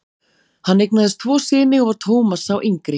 Hann eignaðist tvo syni og var Thomas sá yngri.